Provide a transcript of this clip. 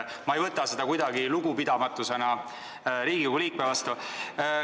Ma ei võta seda kuidagi lugupidamatusena Riigikogu liikme vastu.